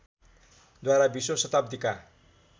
द्वारा बीसौँ शताब्दीका